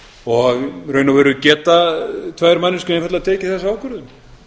og í raun og veru geta tvær manneskjur einfaldlega tekið þessa ákvörðun